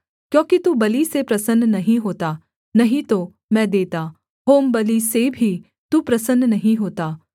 क्योंकि तू बलि से प्रसन्न नहीं होता नहीं तो मैं देता होमबलि से भी तू प्रसन्न नहीं होता